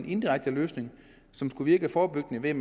indirekte løsning som skulle virke forebyggende ved